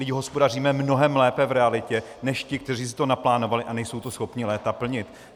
Vždyť hospodaříme mnohem lépe v realitě než ti, kteří si to naplánovali a nejsou to schopni léta plnit.